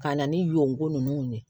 Ka na ni y'o ye